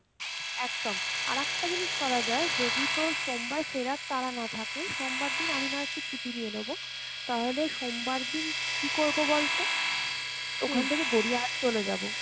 একদম, আর একটা জিনিস করা যায় যদি তোর সোমবার ফেরার তারা না থাকে সোমবার দিন আমি না হয় একটু ছুটি নিয়ে নেবো, তাহলে সোমবার দিন কী করবো বলতো? ওখান থেকে গড়িয়া হাট চলে যাব,